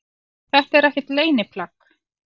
Þetta er ekkert leyniplagg